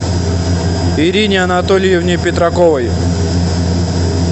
ирине анатольевне петраковой